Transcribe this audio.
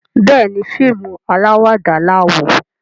Béèni fíìmù alawada la wò.